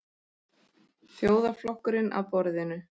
Þjóðarflokkurinn að borðinu?